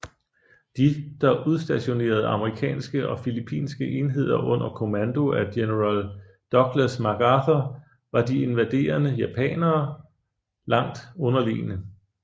De der udstationerede amerikanske og filippinske enheder under kommando af general Douglas MacArthur var de invaderende japanere langt underlegne